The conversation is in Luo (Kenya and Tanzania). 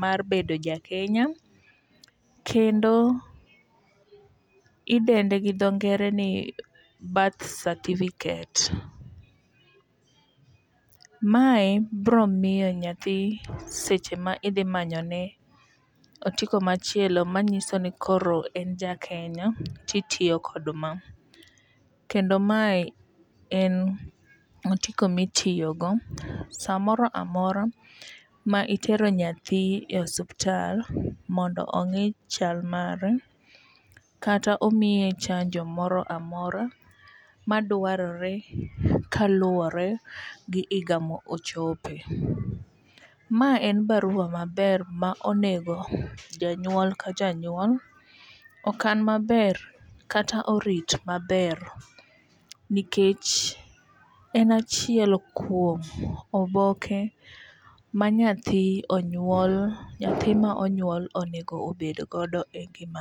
mar bedo jakenya kendo idende gi dho ngere ni birth certificate. Mae bro miyo nyathi seche ma idhi manyone otiko machielo manyiso ni koro en jakenya titiyo kod ma. Kendo mae en otiko mitiyo go samoro amora ma itero nyathi e osuptal mondo ong'i chal mare kata omiye chanjo moro amora madwarore kaluwore gi higa mo ochope. Ma en barua maber ma onego janyuol ka janyuol okan maber kata orit maber nikech en achiel kuom oboke ma nyathi onyuol nyathi ma onyuol onego bed godo e ngimane.